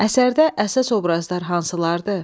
Əsərdə əsas obrazlar hansılardır?